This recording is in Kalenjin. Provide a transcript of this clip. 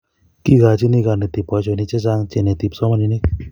kikoini konetik boisionik chechang chineti kipsomaninik